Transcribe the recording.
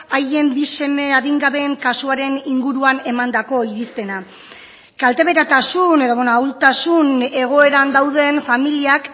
haien bi seme adingabeen kasuaren inguruan emandako irizpena kalteberatasun edo ahultasun egoeran dauden familiak